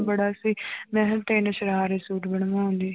ਬੜਾ ਸੀ ਮੈਂ ਕਿਹਾ ਤਿੰਨ ਸਰਾਰੇ ਸੂਟ ਬਣਵਾਉਂਦੀ